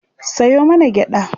Sayo mana gyaɗa